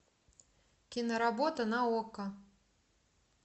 киноработа на окко